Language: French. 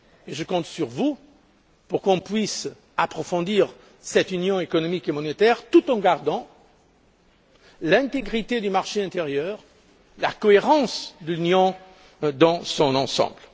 Je compte sur vous pour que nous puissions approfondir cette Union économique et monétaire tout en maintenant l'intégrité du marché intérieur et la cohérence de l'Union dans son ensemble.